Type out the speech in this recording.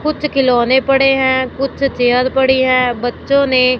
कुछ खिलौने पड़े है कुछ चेयर पड़ी है बच्चों ने--